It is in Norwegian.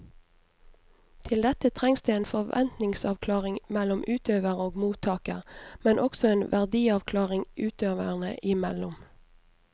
Til dette trengs det en forventningsavklaring mellom utøver og mottaker, men også en verdiavklaring utøverne imellom.